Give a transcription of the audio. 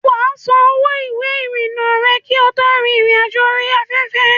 Wà á san owó ìwé ìrìnnà rẹ kí o tó rin ìrìn àjò orí afẹ́fẹ́.